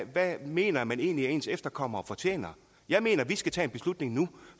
hvad mener man egentlig at ens efterkommere fortjener jeg mener at vi skal tage beslutningen nu